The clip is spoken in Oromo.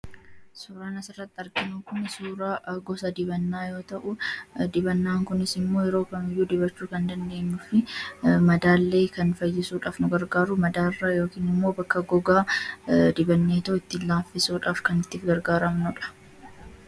Suuraan asirratti argaa jirru kun suuraa gosa dibataa yommuu ta'u, dibanni kunis immoo yeroo kamiyyuu dibachuu kan dandeenyuu fi madaa illee fayyisuuf kan nu gargaaru, bakka gogaa dibanneetoo ittiin laaffisuuf kan itti gargaaramnudha.